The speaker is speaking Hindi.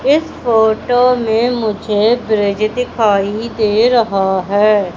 इस फोटो में मुझे ब्रिज दिखाई दे रहा है।